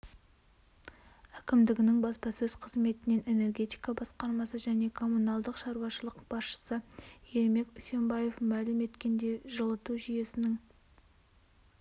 әкімдігінің баспасөз қызметінен энергетика басқармасы және коммуналдық шаруашылық басшысы ермек усенбаев мәлім еткендей жылыту жүйесінің